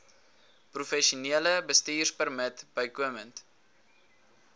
professionele bestuurpermit bykomend